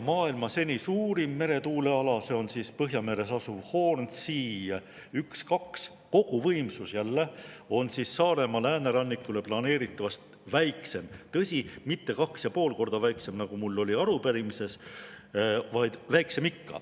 Maailma seni suurim meretuuleala on Põhjameres asuv Hornsea 1, 2, mille koguvõimsus on Saaremaa läänerannikule planeeritavast väiksem, tõsi, mitte 2,5 korda väiksem, nagu mul oli arupärimises, aga siiski väiksem.